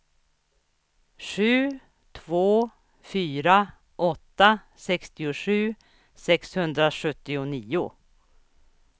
sju två fyra åtta sextiosju sexhundrasjuttionio